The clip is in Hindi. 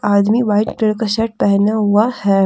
आदमी व्हाइट कलर का शर्ट पहना हुआ है।